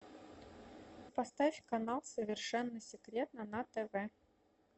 поставь канал совершенно секретно на тв